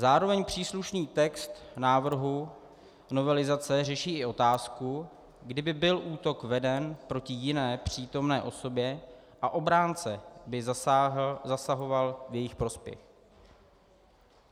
Zároveň příslušný text návrhu novelizace řeší o otázku, kdyby byl útok veden proti jiné přítomné osobě a obránce by zasahoval v její prospěch.